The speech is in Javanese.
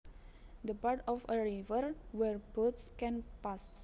The part of a river where boats can pass